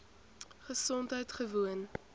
gesondheidgewoon